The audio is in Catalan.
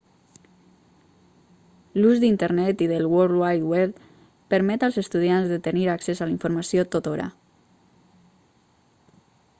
l'ús d'internet i del world wide web permet als estudiants de tenir accés a la informació tothora